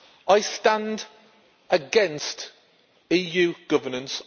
I stand against EU governance.